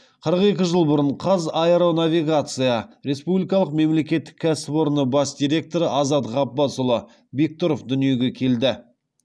қырық екі жыл бұрын қазаэронавигация республикалық мемлекеттік кәсіпорны бас директоры азат ғаббасұлы бектұров дүниеге келді